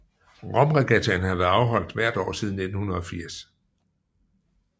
Romregattaen har været afholdt hvert år siden 1980